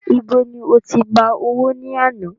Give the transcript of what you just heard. Ibo ni oti gbà owó ní àná?